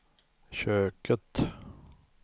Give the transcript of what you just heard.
köket